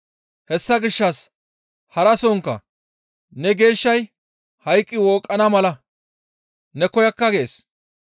Hessa gishshas harasonkka, ‹Ne geeshshay hayqqi wooqqana mala ne koyakka› gees.